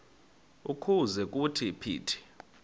ukuze kuthi phithi